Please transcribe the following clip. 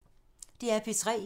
DR P3